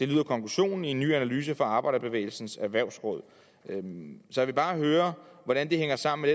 lyder konklusionen i en ny analyse fra arbejderbevægelsens erhvervsråd jeg vil bare høre hvordan det hænger sammen